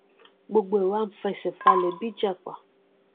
gbogbo ẹ wá n fẹsẹ falẹ bí ìjàpá